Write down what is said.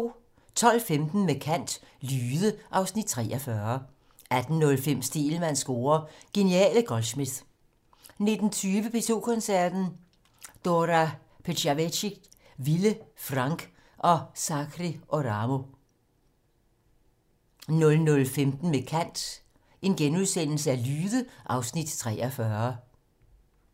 12:15: Med kant - Lyde (Afs. 43) 18:05: Stegelmanns score: Geniale Goldsmith 19:20: P2 Koncerten - Dora Pejacevic, Vilde Frang og Sakari Oramo 00:15: Med kant - Lyde (Afs. 43)*